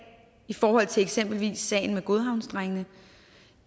i forhold til eksempelvis sagen med godhavndrengene